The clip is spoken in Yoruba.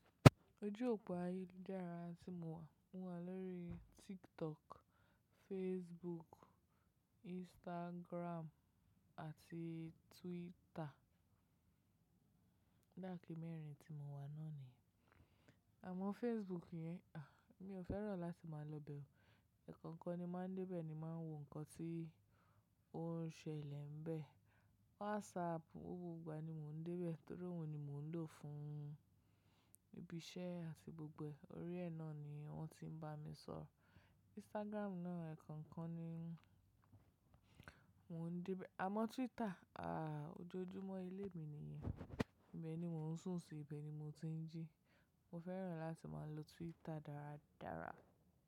Ojú òpó ayélujára tí mo wà, mo wà lórí TikTok, Facebook, Instagram àti Twitter. O dape mẹ́rin tí mo wà náà nìyẹn. Àmọ́ Facebook yẹn, à, mí ò fẹ́ràn láti máa lọ bẹ o. E kokan ni máa ń dé bẹ ni máa ń wo nǹkan tí ó ń ṣẹlẹ̀ bẹ. WhatsApp, gbogbo ìgbà ni mò ń dé bẹ torí òun ni mò ń lò fún ibi iṣẹ́ àti gbogbo orí ẹ náà ni wọ́n ti ń bá mi sọ̀rọ̀. Instagram náà ekankan ni mò ń dé bẹ. Àmọ́ Twitter, a, ojoojúmọ́ ilé mi nìyẹn. Ibẹ̀ ni mò ń sùn sí, ibẹ̀ ni mo ti ń jí. Mo fẹ́ràn láti máa lo Twitter dáradára.